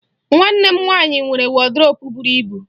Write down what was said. Nwanne m nwaanyị nwere wọdrobụ buru ibu.